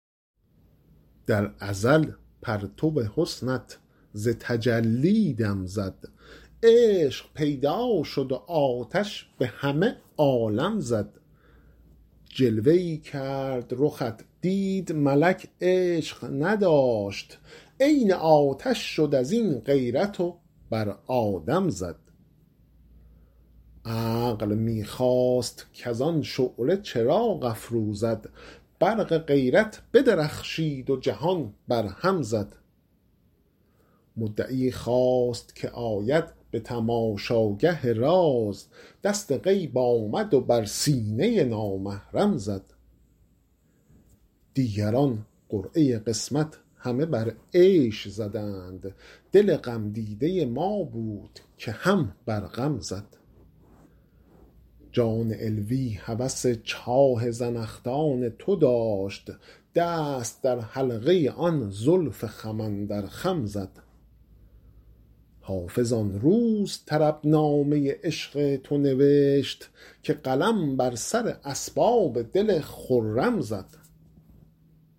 در ازل پرتو حسنت ز تجلی دم زد عشق پیدا شد و آتش به همه عالم زد جلوه ای کرد رخت دید ملک عشق نداشت عین آتش شد از این غیرت و بر آدم زد عقل می خواست کز آن شعله چراغ افروزد برق غیرت بدرخشید و جهان برهم زد مدعی خواست که آید به تماشاگه راز دست غیب آمد و بر سینه نامحرم زد دیگران قرعه قسمت همه بر عیش زدند دل غمدیده ما بود که هم بر غم زد جان علوی هوس چاه زنخدان تو داشت دست در حلقه آن زلف خم اندر خم زد حافظ آن روز طربنامه عشق تو نوشت که قلم بر سر اسباب دل خرم زد